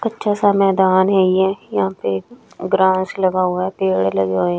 कच्चा सा मैदान है ये यहां पे ग्रास लगा हुआ है पेड़ लगे हुए हैं।